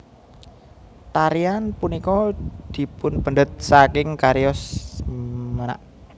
Tarian punika dipunpendhet saking cariyos menak